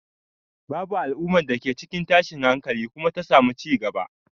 Babu al'umma da ke cikin tashin hankali kuma ta samu cigaba.